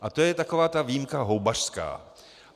A to je taková ta výjimka houbařská.